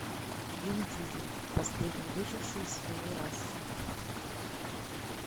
вин дизель последний выживший из своей расы